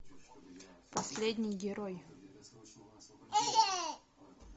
последний герой